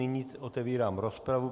Nyní otevírám rozpravu.